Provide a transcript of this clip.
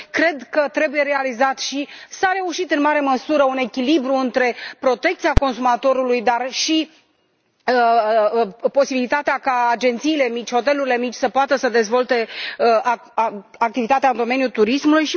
Cred că trebuie realizat, și s a reușit în mare măsură, un echilibru între protecția consumatorului și posibilitatea ca agențiile mici, hotelurile mici să dezvolte activitatea în domeniul turismului